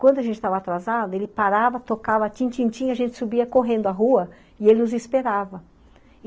Quando a gente estava atrasada, ele parava, tocava a tchim-tchim-tchim e a gente subia correndo à rua e ele nos esperava.